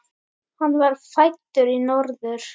Hann var fæddur í Norður